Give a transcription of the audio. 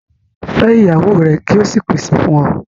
Fẹ́ iyàwọ́ rẹ̀ kí ó sì pèsè fún ọ̀!